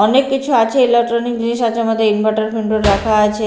অনেককিছু আছে ইলেকট্রনিক জিনিস আছে এর মধ্যে ইনভার্টার রাখা আছে।